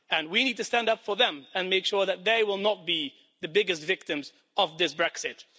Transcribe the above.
And we need to stand up for them and make sure that they will not be the biggest victims of this Brexit.